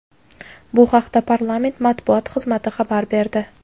Bu haqda parlament Matbuot xizmati xabar berdi.